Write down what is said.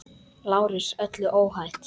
LÁRUS: Öllu óhætt!